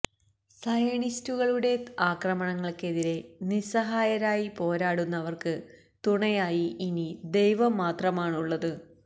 സയണിസ്റ്റുകളുടെ അക്രമങ്ങള്ക്കെതിരെ നിസ്സഹായരായി പോരാടുന്നവര്ക്ക് തുണയായി ഇനി ദൈവം മാത്രമാണുള്ളത്